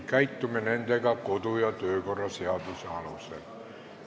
Käitume nendega kodu- ja töökorra seaduse alusel.